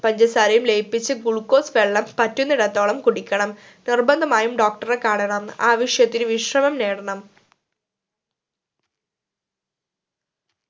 പഞ്ചസാരയും ലയിപ്പിച് glucose വെള്ളം പറ്റുന്നിടത്തോളം കുടിക്കണം നിർബന്ധമായും doctor റെ കാണണം ആവിശ്യത്തിന് വിശ്രമം നേടണം